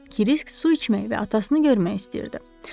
Kirisk su içmək və atasını görmək istəyirdi.